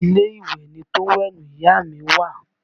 Inú ilé ìwẹ̀ ni tówẹ́ẹ̀lì ìyá à mi wà